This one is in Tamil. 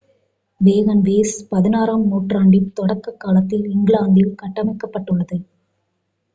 வேகன்வேஸ் 16-ஆம் நூற்றாண்டின் தொடக்க காலத்தில் இங்கிலாந்தில் கட்டமைக்கப்பட்டுள்ளது